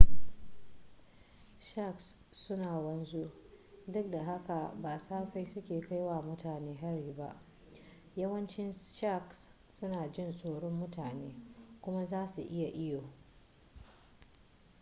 sharks suna wanzu duk da haka ba safai suke kai wa mutane hari ba yawancin sharks suna jin tsoron mutane kuma zasu iya iyo